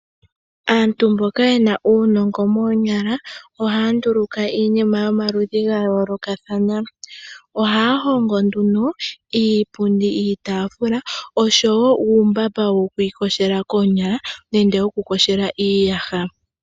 Aantu mboka ye na uunongo moonyala, ohaya nduluka iinima yomaludhi ga yoolokathana. Ohaya hongo nduno iipundi, iitaafula oshowo uutemba wokuiyogela koonyala nenge wokuyogela iiyaha.